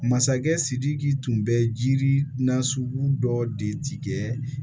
Masakɛ sidiki tun bɛ jiri nasugu dɔ de tigɛ